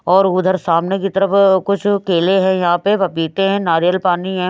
और उधर सामने की तरफ कुछ केले हैं यहाँ पे पपीते हैं नारियल पानी है।